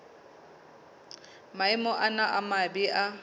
maemo ana a mabe a